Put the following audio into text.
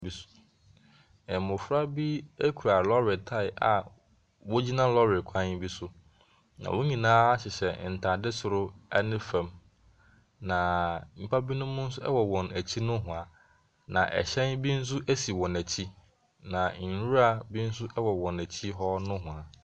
Mmɔfra bi kura lɔɔre tae a wɔgyina klɔɔre kwan bi so, na wɔn nyinaa hyehyɛ ntadeɛ soro ne fam. Na nnipa binom nso wɔ wɔn akyi nohoa. Na ɛhyɛn bi nso si wɔn akyi. Na nwura bi nso wɔ wɔn akyi hɔ nohoa.